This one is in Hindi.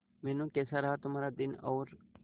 मीनू कैसा रहा तुम्हारा दिन और